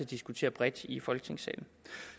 diskutere bredt i folketingssalen